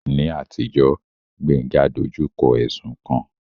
Ní àtijọ́, Gbénga dojú kọ ẹ̀sùn kan